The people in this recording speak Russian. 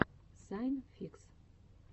сайн фикс